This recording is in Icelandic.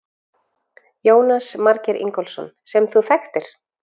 Jónas Margeir Ingólfsson: Sem þú þekktir?